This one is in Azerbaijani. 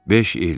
Beş il.